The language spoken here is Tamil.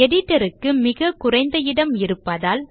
editor க்கு மிக குறைந்த இடம் இருப்பதால்